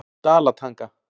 Dalatanga